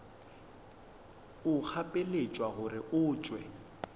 o gapeletšwa gore o tšwe